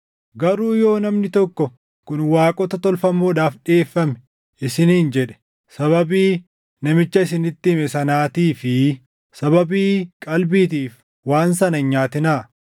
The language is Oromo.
Garuu yoo namni tokko, “Kun waaqota tolfamoodhaaf dhiʼeeffame” isiniin jedhe, sababii namicha isinitti hime sanaatii fi sababii qalbiitiif waan sana hin nyaatinaa.